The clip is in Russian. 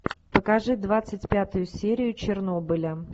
покажи двадцать пятую серию чернобыля